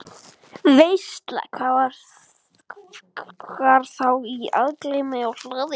Veisla var þá í algleymi á hlaði.